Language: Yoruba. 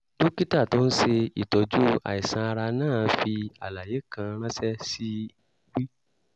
dókítà tó ń ṣe ìtọ́jú àìsàn ara náà fi àlàyé kan ránṣẹ́ sí w